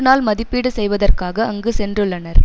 நாள் மதிப்பீடு செய்வதற்காக அங்கு சென்றுள்ளனர்